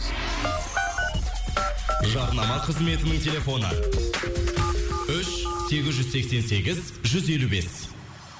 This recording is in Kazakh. жарнама қызметінің телефоны үш сегіз жүз сексен сегіз жүз елу бес